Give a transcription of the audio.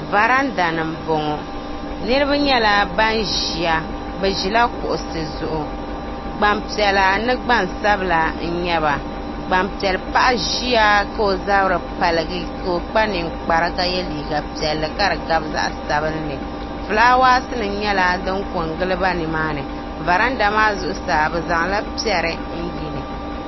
Varanda ni m boŋɔ niriba bɛ ʒila kuɣusi zuɣu gbanpiɛla ni gbansabla n nyɛba gbanpiɛli paɣa ʒia ka o zabri paligi ka o kpa ninkpara ka ye liiga piɛlli ka di gabi zaɣa sabinli filaawaasi nima nyɛla din kongili ba nimaani varanda maa zuɣusaa bɛ zaŋla piɛri n yili.